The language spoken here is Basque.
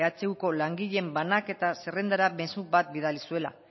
ehuko langileen banaketa zerrendara mezu bat bidali zuela